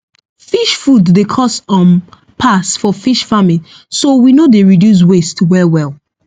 fish food dey cost um pass for fish farming so we no dey reduce waste well well